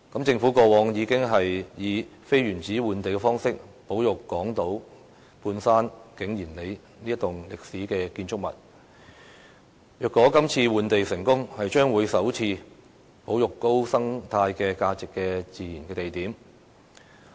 政府過往已經以非原址換地方式保育港島半山景賢里這棟歷史建築物，如果這次成功換地，將會是首次保育高生態價值的自然地點。